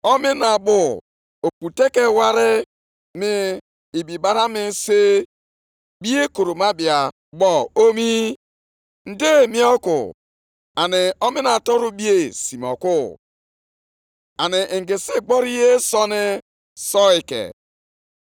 ‘Onye nʼime unu nwere ike icheta otu ụlọnsọ ukwu nke mbụ si dị ebube? Ọ dị aṅaa nʼanya unu ugbu a? Ọ bụ na ọ dịghị unu ka ihe efu ugbu a.